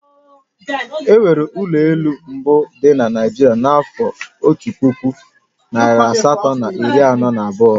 E wuru ụlọ elụ mbụ dị na Naịjirịa n'afọ Otu puku, narị asatọ na iri anọ na abụọ